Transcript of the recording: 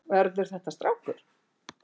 Verður þetta strákur?